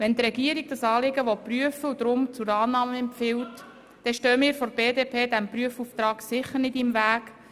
Wenn die Regierung das Anliegen prüfen will und darum zur Annahme empfiehlt, dann stehen wir seitens der BDP dem Prüfauftrag sicher nicht im Weg.